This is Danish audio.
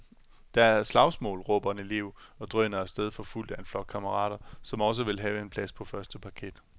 Der er slagsmål, råber en elev og drøner af sted forfulgt af en flok kammerater, som også vil have en plads på første parket.